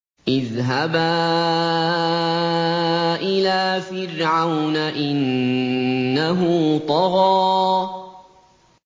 اذْهَبَا إِلَىٰ فِرْعَوْنَ إِنَّهُ طَغَىٰ